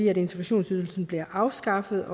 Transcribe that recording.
at integrationsydelsen bliver afskaffet